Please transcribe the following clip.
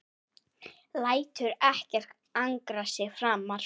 Lætur ekkert angra sig framar.